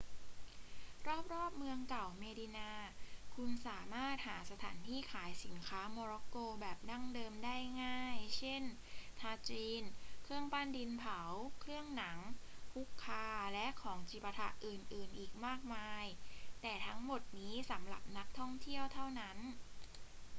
รอบ ๆ เมื่องเก่าเมดินา คุณสามารถหาสถานที่ขายสินค้าโมร็อกโกแบบดั้งเดิมได้ง่าย เช่น ทาจีน เครื่องปั้นดินเผา เครื่องหนัง ฮุคคา และของจิปาถะอื่น ๆ อีกมากมาย แต่ทั้งหมดนี้สำหรับนักท่องเที่ยวเท่านั้น